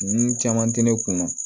Nun caman tɛ ne kun na